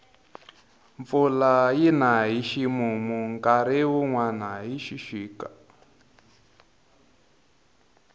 mpfula yina hi ximumu nkarhi wunwani hi xixika